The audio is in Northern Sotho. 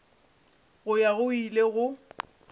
go ya go ile go